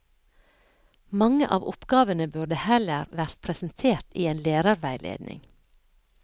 Mange av oppgavene burde heller vært presentert i en lærerveiledning.